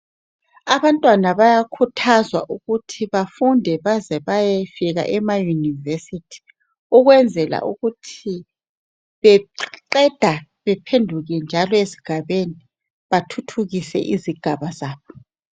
Abantwana bayakhuthazwa ukuthi bafunde baze bayefika ema university ukwenzela ukuthi beqeda bephenduke njalo ezigabeni, bathuthukise izigaba zabo